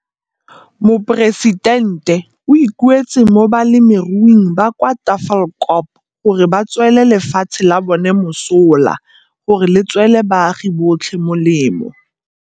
Moporesitente o ikuetse mo balemiruing ba kwa Tafelkop gore ba swele lefatshe la bona mosola gore le tswele baagi botlhe molemo.